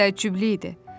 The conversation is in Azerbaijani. Təəccüblü idi.